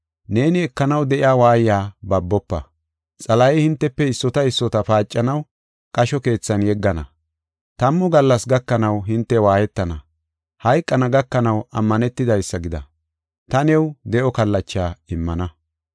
Neeni ekanaw de7iya waayiya babofa. Xalahey hintefe issota issota paacanaw qasho keethan yeggana; tammu gallas gakanaw hinte waayetana. Hayqana gakanaw ammanetidaysa gida; ta new de7o kallacha immana.”